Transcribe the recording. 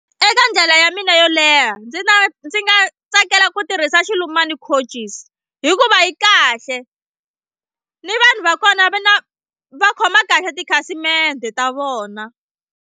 Eka ndlela ya mina yo leha ndzi nga ndzi nga tsakela ku tirhisa Xilumani coaches hikuva yi kahle ni vanhu va kona va na va khoma kahle tikhasimende ta vona.